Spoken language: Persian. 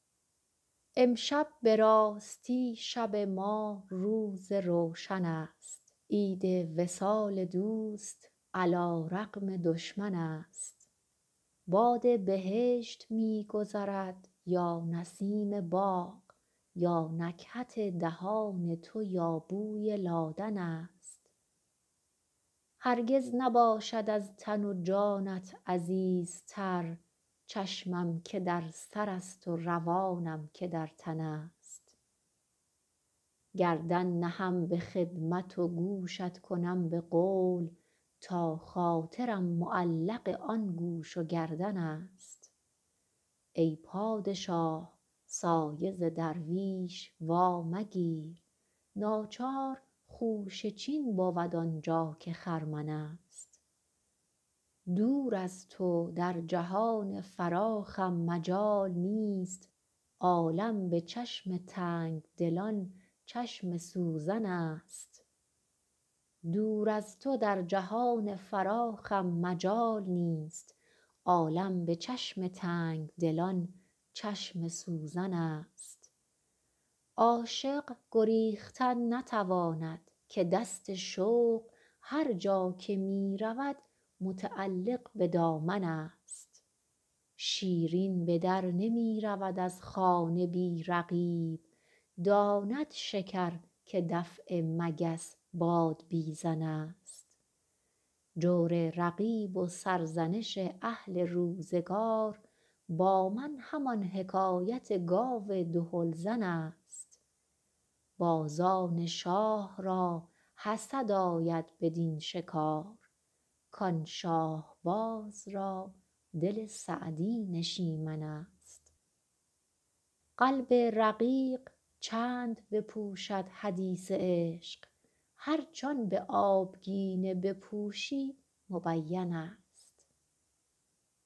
امشب به راستی شب ما روز روشن است عید وصال دوست علی رغم دشمن است باد بهشت می گذرد یا نسیم باغ یا نکهت دهان تو یا بوی لادن است هرگز نباشد از تن و جانت عزیزتر چشمم که در سرست و روانم که در تن است گردن نهم به خدمت و گوشت کنم به قول تا خاطرم معلق آن گوش و گردن است ای پادشاه سایه ز درویش وامگیر ناچار خوشه چین بود آن جا که خرمن است دور از تو در جهان فراخم مجال نیست عالم به چشم تنگ دلان چشم سوزن است عاشق گریختن نتواند که دست شوق هر جا که می رود متعلق به دامن است شیرین به در نمی رود از خانه بی رقیب داند شکر که دفع مگس بادبیزن است جور رقیب و سرزنش اهل روزگار با من همان حکایت گاو دهل زن است بازان شاه را حسد آید بدین شکار کان شاهباز را دل سعدی نشیمن است قلب رقیق چند بپوشد حدیث عشق هرچ آن به آبگینه بپوشی مبین است